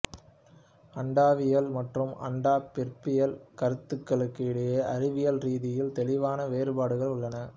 அண்டவியல் மற்றும் அண்ட பிறப்பியல் கருத்துக்களுக்கு இடையே அறிவியல் ரீதியில் தெளிவான வேறுபாடுகள் உள்ளன